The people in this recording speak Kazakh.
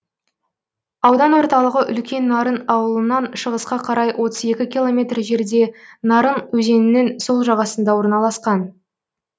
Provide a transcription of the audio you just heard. аудан орталығы үлкен нарын ауылынан шығысқа қарай отыз екі километр жерде нарын өзенінің сол жағасында орналасқан